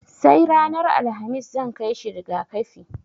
Sai ranar Alhamis zan kai shi riga-kafi.